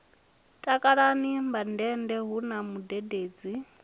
takalani mandende hu na mudededzi